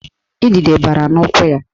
Idide bara n'ụkwụ ya